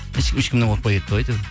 ешкім ешкімнен қорықпай кетті ғой әйтеуір